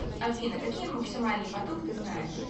афина какие максимальный поток ты знаешь